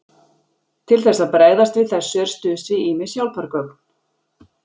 Til þess að bregðast við þessu er stuðst við ýmis hjálpargögn.